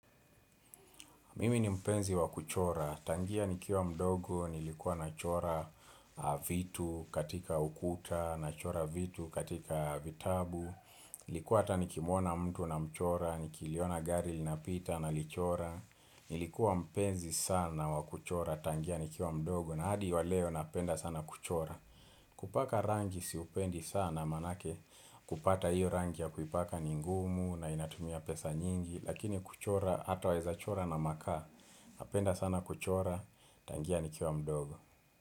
Mimi ni mpenzi wa kuchora, tangia nikiwa mdogo, nilikuwa nachora vitu katika ukuta, nachora vitu katika vitabu. Nilikuwa hata nikimuona mtu namchora, nikiliona gari linapita nalichora Nilikuwa mpenzi sana wa kuchora, tangia nikiwa mdogo, na hadi wa leo napenda sana kuchora kupaka rangi siupendi sana maanake kupata hiyo rangi ya kuipaka ni ngumu na inatumia pesa nyingi. Lakini kuchora hata waezachora na makaa Napenda sana kuchora tangia nikiwa mdogo.